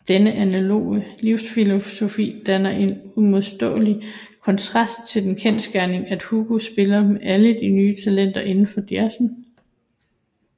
Denne analoge livsfilosofi danner en uimodståelig kontrast til den kendsgerning at Hugo spiller med alle de nye talenter indenfor jazzen